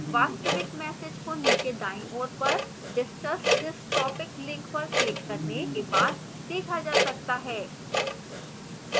वास्तविक message को नीचे दाईं ओर पर discuss this topic link पर क्लिक करने के बाद देखा जा सकता है